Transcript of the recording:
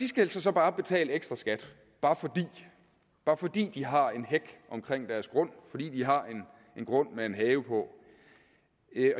skal altså så bare betale en ekstra skat bare fordi de har en hæk omkring deres grund fordi de har en grund med en have på